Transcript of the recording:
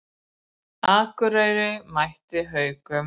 Akureyri mætir Haukum